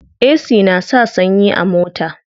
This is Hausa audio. Ac na sa sanyi a mota.